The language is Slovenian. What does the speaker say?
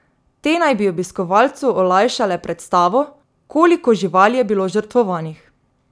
Te naj bi obiskovalcu olajšale predstavo, koliko živali je bilo žrtvovanih.